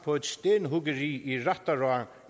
på et stenhuggeri i rættará